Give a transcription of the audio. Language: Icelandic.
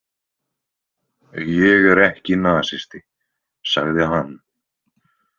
Ég er ekki nasisti, sagði hann.